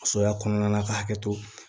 Soya kɔnɔna na ka hakɛ to